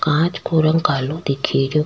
कांच को रंग कालो दिखे रो।